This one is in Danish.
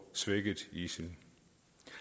svækket isil